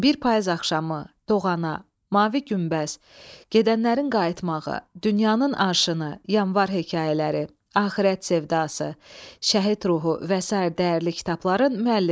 Bir Payız axşamı, Doğana, Mavi Günbəz, Gedənlərin qayıtmağı, Dünyanın Aşını, Yanvar hekayələri, Axirət sevdası, Şəhid ruhu və sair dəyərli kitabların müəllifidir.